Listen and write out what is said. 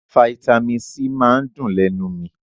Faitamí C máa ń dùn lénu mi